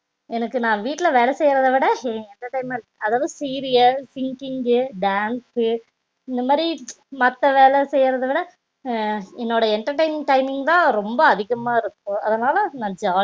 எனக்கு நா வீட்ல வேல செய்யரத விட entertainment டா இருக்கறது அதாவது சீரியல் singing dance சு இந்த மாதிரி மத்த வேல செய்யறத விட என்னோட entertainment timing தா அதிகமா இருக்கும் அதனால நா